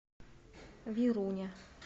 веруня